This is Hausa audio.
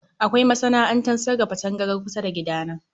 Kawai masana'antar sarrafa tangaran kusa da gida na